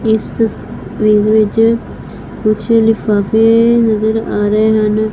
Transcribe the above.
ਇਸ ਤਸਵੀਰ ਵਿੱਚ ਕੁਝ ਲਿਫਾਫੇ ਨਜ਼ਰ ਆ ਰਹੇ ਹਨ।